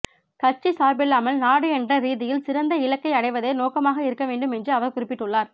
கட்சி சார்பில்லாமல் நாடு என்ற ரீதியில் சிறந்த இலக்கை அடைவதே நோக்கமாக இருக்கவேண்டும் என்று அவர் குறிப்பிட்டுள்ளார்